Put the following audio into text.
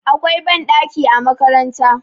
akwai banɗaki a makaranta